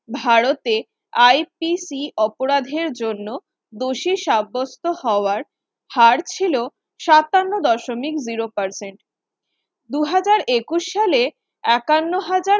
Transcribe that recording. ভারতে IPC অপরাধের জন্য দোষী সাব্যস্ত হওয়ার হার ছিল ছাপ্পান্ন দশমিক zero percent দুহাজার একুশ সালে একান্ন হাজার